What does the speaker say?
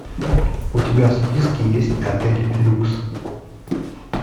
у тебя в списке есть отель люкс